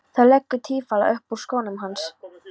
Það leggur táfýlu upp úr skónum hans.